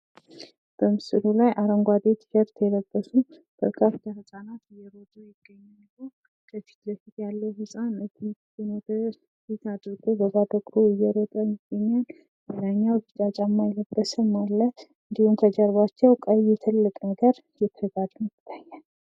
በምስሉ ላይ አረንጓዴ ቲሸርት የለበሱ በርካታ ህፃናት እየሮጡ ይታያሉ። ከፊት የሚገኘው ህፃን እጁን ወደ ኋላ አድርጎ እየሮጠ ይታያል ።እንዲሁም ቆዳ ጫማ የለበሰ ይታያል። ከጀርባቸው የተጋደመ ቀይ ነገር ይታያል ።